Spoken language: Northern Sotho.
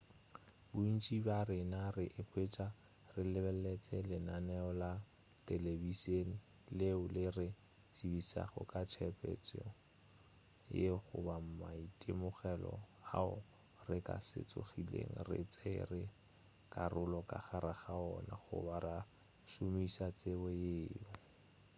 bontši bja rena re ikhwetša re lebeletše lenaneo la telebišene leo le re tsebišago ka tshepetšo yeo goba maitemogelo ao re ka se tsogilego re tšere karolo ka gare gawona goba ra šomiša tsebo yeo